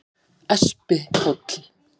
Espihóli